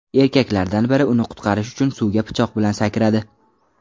Erkaklardan biri uni qutqarish uchun suvga pichoq bilan sakradi.